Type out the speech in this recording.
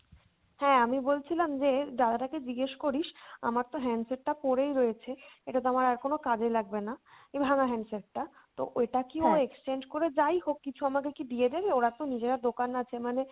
হ্যাঁ আমি বলছিলাম যে দাদাটা কে জিজ্ঞেস করিস আমারতো handset টা পড়েই রয়েছে, এটাতো আমার আর কোনো কাজে লাগবে না এই ভাঙ্গা handset টা, তো এটা কি ও exchange করে যাই হোক কিছু আমাদের কি দিয়ে দেবে ওরা তো নিজেরা দোকান আছে মানে,